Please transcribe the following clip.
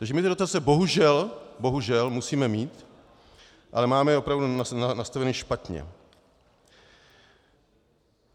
Takže my ty dotace bohužel - bohužel - musíme mít, ale máme je opravdu nastaveny špatně.